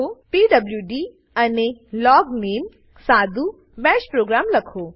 PWD અને લોગનામે સાદું બાશ પ્રોગ્રામ લખો